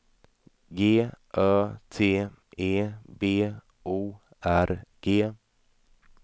G Ö T E B O R G